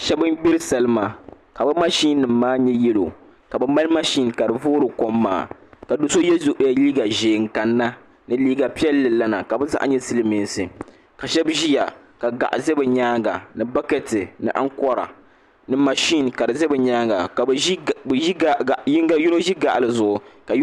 Shab n gbiri salima ka bi mashin nim maa nyɛ yɛlo ka bi mali mashin ka di voori kom maa ka do so yɛ liiga ʒiɛ n kanna ni liiga piɛlli lana ka bi zaa nyɛ silmiinsi ka shab ʒiya ka gaɣa ʒɛ bi nyaanga ni bakɛti ni ankora ni mashin ka di ʒɛ bi nyaanga ka yinga ʒi gaɣa yɛlo zuɣu